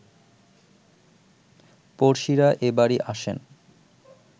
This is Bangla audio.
পড়শিরা এ বাড়ি আসেন